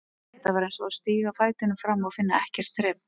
Þetta var eins og að stíga fætinum fram og finna ekkert þrep.